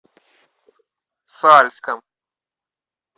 сальском